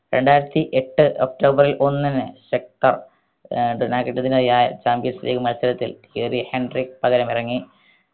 രണ്ടായിരത്തി എട്ട് ഒക്ടോബർ ഒന്നിന് ശക്ത ഏർ champions league മത്സരത്തിൽ ഏറി ഹെൻട്രിക് പകരമിറങ്ങി